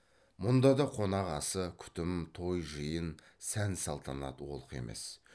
мұнда да қонақ асы күтім той жиын сән салтанат олқы емес